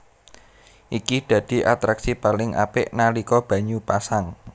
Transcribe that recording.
Iki dadi atraksi paling apik nalika banyu pasang